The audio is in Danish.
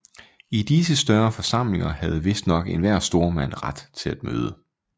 I disse større forsamlinger havde vistnok enhver stormand ret til at møde